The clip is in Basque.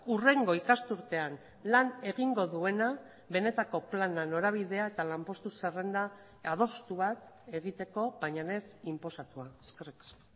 hurrengo ikasturtean lan egingo duena benetako plana norabidea eta lanpostu zerrenda adostu bat egiteko baina ez inposatua eskerrik asko